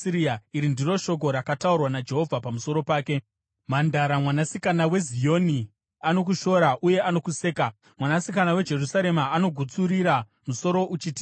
Iri ndiro shoko rakataurwa naJehovha pamusoro pake: “ ‘Mhandara Mwanasikana weZioni anokushora uye anokuseka. Mwanasikana weJerusarema anogutsurira musoro uchitiza.